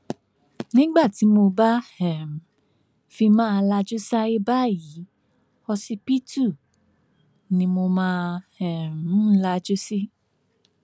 nígbà tí mo bá um fi máa lajú sáyé báyìí ọsibítù ni mo máa um ń lajú sí